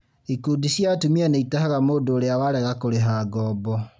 Ikundi cia atumia nĩitahaga mũndũ ũrĩa warega kũrĩha ngoombo